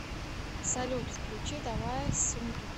салют включи давай сундук